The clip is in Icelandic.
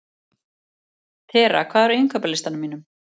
Tera, hvað er á innkaupalistanum mínum?